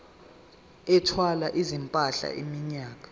ethwala izimpahla iminyaka